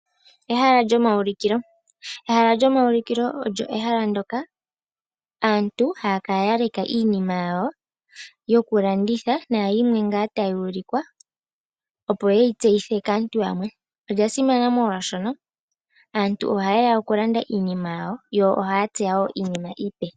Ehala lyomawulikilo, ehala lyomawulikilo olyo ehala ndyoka aantu haya kala ya leka iinima yawo yoku landitha na yimwe ngaa tayi ulikwa opo ye yi tseyithe kaantu yamwe. Olya simana molwashoka aantu oha yeya oku landa iinima yawo, yo ohaya tseya wo iinima iipe.